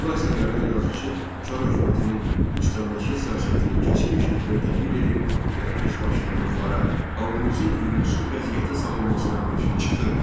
Bu əsərlərdə yazışı Çar hökumətinin müstəmləkə siyasətini kəskin şəkildə tənqid edir və özbaşınalıqlara, xalqımızın hüquqsuz vəziyyətə salınmasına qarşı çıxırdı.